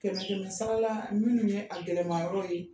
Kɛmɛ kɛmɛ sara la, minnu ye a gɛlɛnman yɔrɔ ye